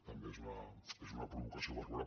també és una provocació barroera